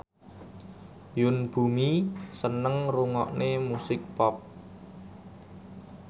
Yoon Bomi seneng ngrungokne musik pop